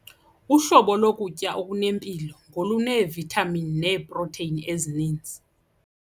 Uhlobo lokutya okunempilo ngoluneevithamini neeprotheyini ezininzi.